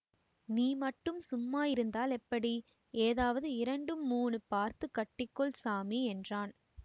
நீ மட்டும் சும்மா இருந்தால் எப்படி ஏதாவது இரண்டு மூணு பார்த்து கட்டிக்கொள் சாமி என்றான்